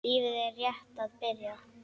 Lífið er rétt að byrja.